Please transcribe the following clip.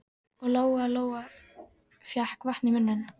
Og Lóa Lóa fékk vatn í munninn.